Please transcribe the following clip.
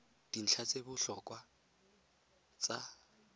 dintlha tse di botlhokwa tsa